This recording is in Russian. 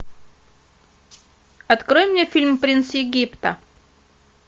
открой мне фильм принц египта